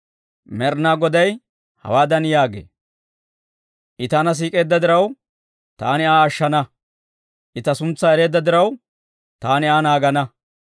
Med'inaa Goday hawaadan yaagee; «I taana siik'eedda diraw, taani Aa ashshana. I ta suntsaa ereedda diraw, taani Aa naagana.